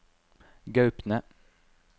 Gaupne